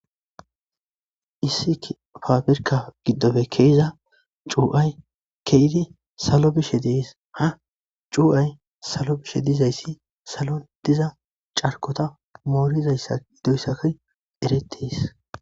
Issi paprika giddoppe ke'izza c'uway ke'eidi izi salo bishshen de'es ha c'uway salo kushshe dizayis salo dizza charikotta morizayissa dizzayissayko erettes.